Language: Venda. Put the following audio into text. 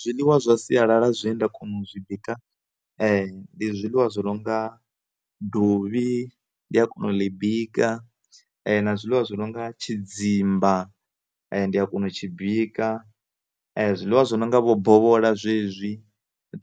Zwiḽiwa zwa sialala zwine nda kona u zwi bika ndi zwiḽiwa zwo no nga dovhi ndi a kona u ḽi bika na zwiḽiwa zwi nonga tshidzimba ndi a kona u tshi bika zwiḽiwa zwi no nga vho bovhola zwezwi